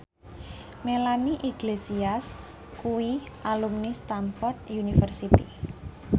Melanie Iglesias kuwi alumni Stamford University